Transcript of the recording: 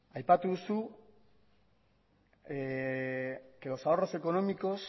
aipatu duzu que los ahorros económicos